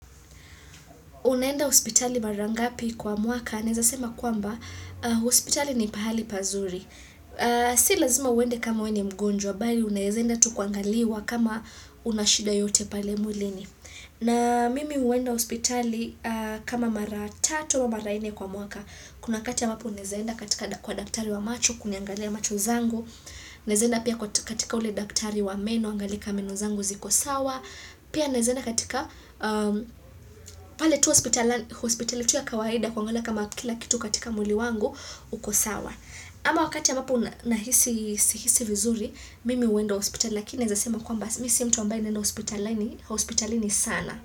Unaenda hospitali mara ngapi kwa mwaka, naeza sema kwamba, hospitali ni pahali pazuri. Si lazima uende kama wewe ni mgonjwa, bali unaeza enda tu kuangaliwa kama una shida yoyote pale mwilini. Na mimi huenda hospitali kama mara tatu au mara nne kwa mwaka. Kuna wakati ambapo unaezae enda katika kwa daktari wa macho, kuniangalia macho zangu. Unaeza enda pia katika ule daktari wa meno, aangalie kama meno zangu ziko sawa. Pia naeza enda katika pale tu hospitali tu.ya kawaida kuangalia kama kila kitu katika mwili wangu uko sawa ama wakati ambapo nahisi sihisi vizuri mimi huenda hospitali lakini naeza sema kwamba mimi si mtu ambaye naenda hospitalini hospitalini sana.